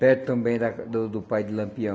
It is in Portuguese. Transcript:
Perto também da do do pai de Lampião.